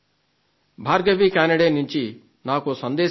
భార్గవి కానడే నుంచి నా కోసం దేశం వచ్చింది